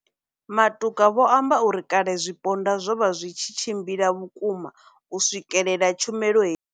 Matuka vho amba uri kale zwipondwa zwo vha zwi tshi tshimbila vhukuma u swikelela tshumelo he.